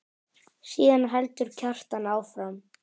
Síðan heldur Kjartan áfram